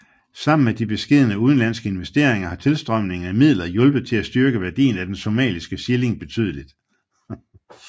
Sammen med de beskedne udenlandske investeringer har tilstrømningen af midler hjulpet til at styrke værdien af den somaliske shilling betydeligt